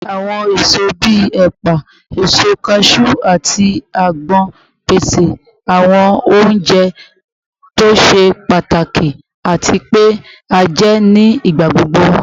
Awọn eso bii epa, eso kaju, ati agbon pese awọn ounjẹ to ṣe pataki ati pe a jẹ ni igbagbogbo